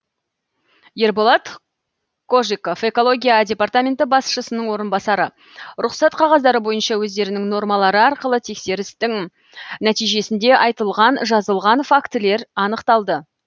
ерболат кожиков экология департаменті басшысының орынбасары рұқсат қағаздары бойынша өздерінің нормалары арқылы тексерістің нәтижесінде айтылған жазылған фактілер анықталды